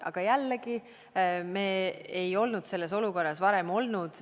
Aga jällegi, me ei olnud selles olukorras varem olnud.